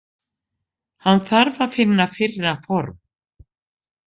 Hann þarf að finna fyrra form.